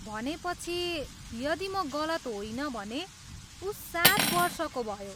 भनेपछि, यदि म गलत होइन भने, ऊ सात वर्षको भयो।